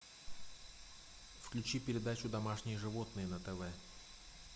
включи передачу домашние животные на тв